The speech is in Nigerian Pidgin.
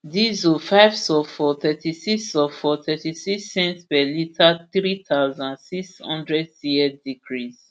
diesel five sulphur thirtysix sulphur thirtysix cents per litre three thousand, six hundred cl decrease